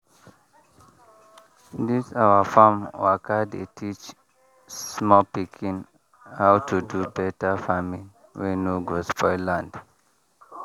this our farm waka dey teach small pikin how to do better farming wey no go spoil land.